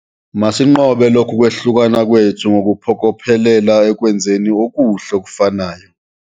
Masinqobe lokhu kwahlukana kwethu ngokuphokophelela ekwenzeni okuhle okufanayo.